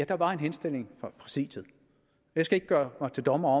der var en henstilling fra præsidiet jeg skal ikke gøre mig til dommer